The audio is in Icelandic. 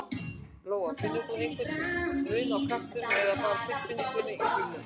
Lóa: Finnur þú einhver mun á kraftinum eða bara tilfinningunni í bílnum?